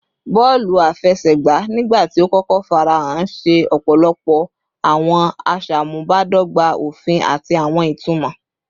Bọọlu afẹsẹgba, nigbati o kọkọ farahan, ṣe ọpọlọpọ awọn aṣamubadọgba ofin ati awọn itumọ